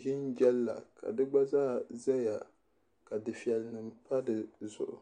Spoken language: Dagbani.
ʒi n jɛli la ka di gba zaa ʒɛya ka dufɛli nim pa dizuɣu